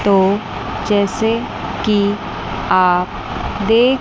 तो जैसे कि आप देख--